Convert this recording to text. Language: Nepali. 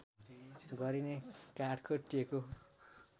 गरिने काठको टेको